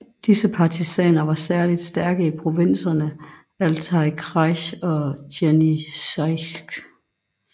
Disse partisaner var særligt stærke i provinserne Altaj kraj og Jenisejsk